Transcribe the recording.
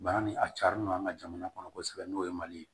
Bana ni a carilen don an ka jamana kɔnɔ kosɛbɛ n'o ye mali ye